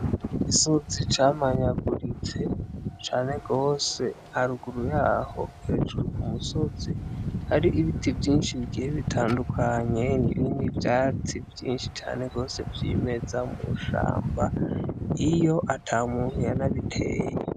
Igisozi camanyaguritse cane gose, haruguru yaho hejuru ku musozi, hari ibiti vyinshi bigiye bitandukanye n'ibindi vyatsi vyinshi cane gose vyimeza mw'ishamba, iyo ata muntu numwe yabiteye.